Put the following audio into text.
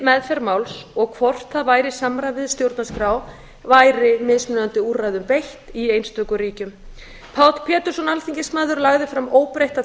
meðferð máls um hvort það væri í samræmi við stjórnarskrá væri mismunandi úrræðum beitt í einstökum ríkjum páll pétursson alþingismaður lagði fram óbreytta